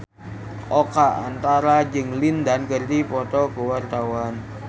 Oka Antara jeung Lin Dan keur dipoto ku wartawan